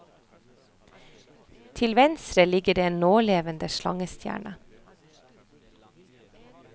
Til venstre ligger det en nålevende slangestjerne.